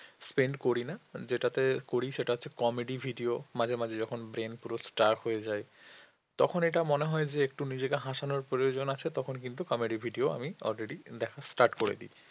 spend করি না যেটাতে করি সেটা হচ্ছে comedy video মাঝে মাঝে যখন brain পুরো sturf হয়ে যায় তখন এটা মনে হয় যে একটু নিজেকে হাসানোর প্রয়োজন আছে তখন কিন্তু comedy video আমি already দেখা start করে দিই